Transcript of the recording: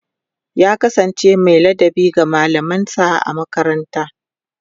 ya kasance Mai ladabi ga mallaman sa a makaranta